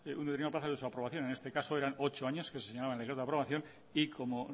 su aprobación en este caso eran ocho años que se señalaban desde de aprobación y como